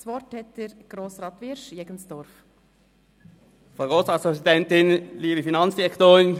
Das Wort hat Grossrat Wyrsch für die SP-JUSO-PSA-Fraktion.